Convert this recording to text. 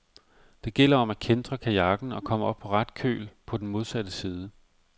Det gælder om at kæntre kajakken og komme op på ret køl på den modsatte side.